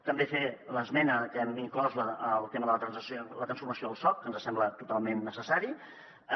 també fer l’esmena que hem inclòs al tema de la transformació del soc que ens sembla total·ment necessària